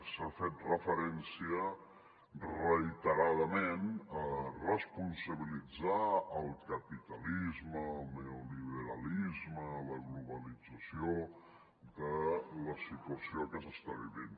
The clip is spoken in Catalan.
s’ha fet referència reiteradament a responsabilitzar el capitalisme el neoliberalisme la globalització de la situació que s’està vivint